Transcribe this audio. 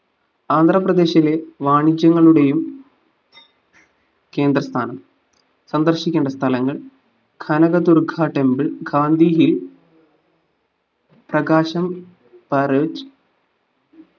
ആന്ധ്രാപദേശിലെ വാണിജ്യങ്ങളുടെയും കേന്ദ്രസ്ഥാനം സന്ദർശിക്കേണ്ട സ്ഥലങ്ങൾ കനകദുർഗ temple ഗാന്ധി hill തഗാശം പാര്ജ്